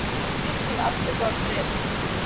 Kaupa lyf til aftöku af Bretum